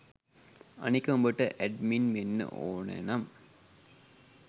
අනික උඹට ඇඩ්මින් වෙන්න ඕනෙ නම්